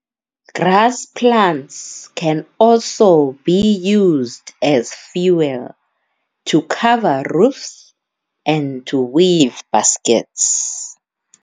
Grass plants can also be used as fuel, to cover roofs, and to weave baskets.